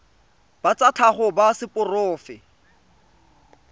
ba tsa tlhago ba seporofe